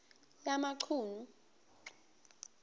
yamachunu